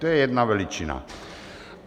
To je jedna veličina.